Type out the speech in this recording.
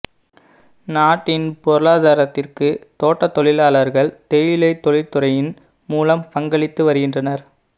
நாட்டின் பொருளாதாரத்திற்கு தோட்ட தொழிலாளர்கள் தேயிலை தொழிற்துறையின் மூலம் பங்களித்து வருகின்றனர்